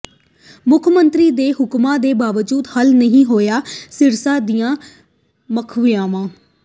ਮੁੱਖ ਮੰਤਰੀ ਦੇ ਹੁਕਮਾਂ ਦੇ ਬਾਵਜੂਦ ਹੱਲ ਨਹੀਂ ਹੋਈਆਂ ਸਿਰਸਾ ਦੀਆਂ ਸਮੱਸਿਆਵਾਂ